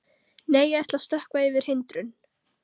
Nei, ég ætla að stökkva yfir hindrun.